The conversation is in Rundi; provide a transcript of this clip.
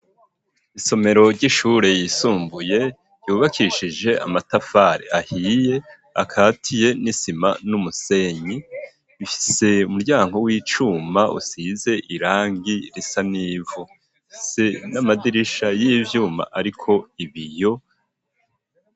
Isomero ry'ishure yisumbuye yubakishije amatafari ahiye akatiye n'isima numusenyi, bifise umuryango w'icuma usize irangi risa n'ivu, rifise n'amadirisha y'ivyuma ariko ibiyo.